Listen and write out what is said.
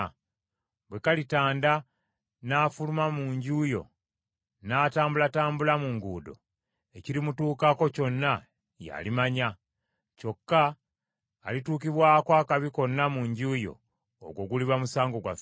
Gwe kalitanda n’afuluma mu nju yo n’atambulatambula mu nguudo, ekirimutuukako kyonna y’alimanya. Kyokka alituukibwako akabi konna mu nju yo, ogwo guliba musango gwaffe.